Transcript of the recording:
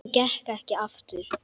Hún gekk ekki aftur.